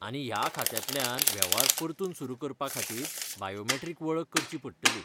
आनी ह्या खात्यांतल्यान वेव्हार परतून सुरू करपा खातीर बायोमेट्रीक वळख करची पडटली.